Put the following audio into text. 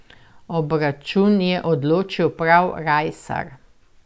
Obračun je odločil prav Rajsar.